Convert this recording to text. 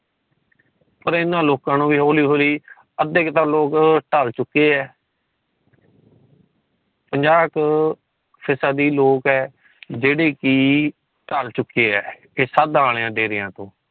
ਪਰ ਇਨ੍ਹਾਂ ਲੋਕਾਂ ਨੂੰ ਵੀ ਹੋਲੀ ਹੋਲੀ ਅੱਦੇ ਤਾ ਲੋਕ ਟਾਲ ਚੁੱਕੇ ਹੈ। ਪੰਜਾਹ ਫੀਸਦੀ ਲੋਕ ਹੈ ਜੇੜੀ ਕਿ ਟਾਲ ਚੁੱਕੇ ਹੈ ਇਹ ਸਾਦ ਦਾਣੇ ਡੇਰਿਆਂ